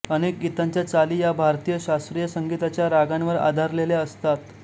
अनेक गीतांच्या चाली या भारतीय शास्त्रीय संगीताच्या रागांवर आधारलेल्या असतात